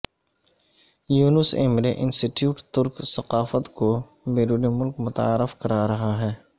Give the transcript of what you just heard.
یونس Emre institute ترک ثقافت کو بیرون ملک متعارف کرا رہا ہے